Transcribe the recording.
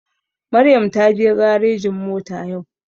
Maryam taje garejin mota yau